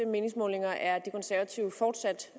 meningsmålinger er de konservative fortsat